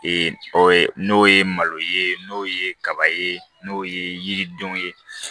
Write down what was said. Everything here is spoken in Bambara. n'o ye malo ye n'o ye kaba ye n'o ye yiridenw ye